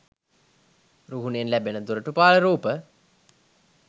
රුහුණෙන් ලැබෙන දොරටුපාල රූප